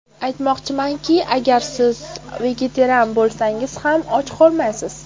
Aytmoqchimanki, agar siz vegetarian bo‘lsangiz ham och qolmaysiz.